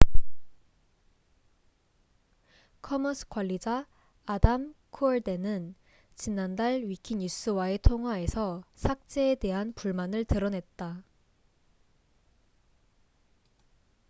commons 관리자 adam cuerden은 지난달 위키 뉴스와의 통화에서 삭제에 대한 불만을 드러냈다